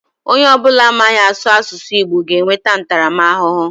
Onye ọ bụla amaghị asụ asụsụ Igbo ga enweta ntaramahụhụ.